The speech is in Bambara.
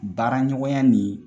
Baara ɲɔgɔnya ni